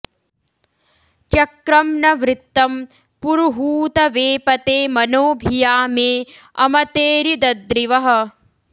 चक्रं न वृत्तं पुरुहूत वेपते मनो भिया मे अमतेरिदद्रिवः